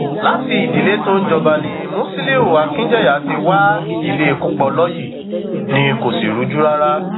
láti ìdílé tó ń jọba ni musiliu akijanya ti wá ìdílé kúpọlọyí ni kò sì rújú rárá